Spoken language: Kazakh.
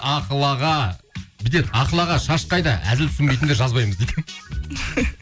ақыл аға бүйтеді ақыл аға шаш қайда әзіл түсінбейтіндер жазбаймыз дейді